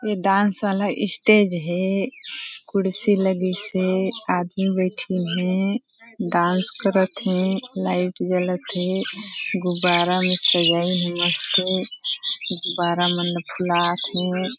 ये डांस वाला स्टेज है कुर्सी लगी से आदमी बैठी है डांस करते हैं लाइट गलत है गुबारा में सजाई नमस्ते गुबारा मन फुलात है।